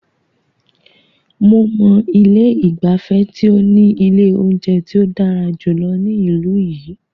Mo mọ ilé ìgbafẹ́ tí o ní ilé oúnjẹ tí o dára jùlọ ní ìlú yìí.